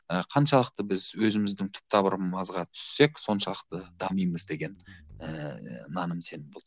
ы қаншалықта біз өзіміздің түп тамырымызға түссек соншалықты дамимыз деген ііі наным сенім болды